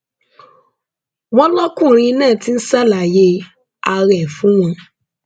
wọn lọkùnrin náà ti ń ṣàlàyé ara ẹ fún wọn